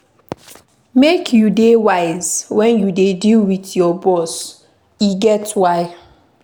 Make you dey wise wen you dey deal wit your boss, e get why.